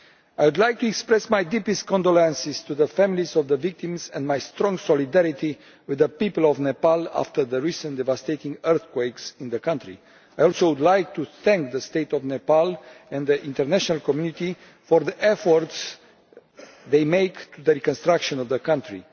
I would like to express my deepest condolences to the families of the victims and my strong solidarity with the people of Nepal after the recent devastating earthquakes there. I would also like to thank the State of Nepal and the international community for the efforts they are making in the reconstruction of the country.